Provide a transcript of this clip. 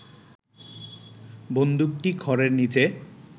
বন্দুকটি খড়ের নিচে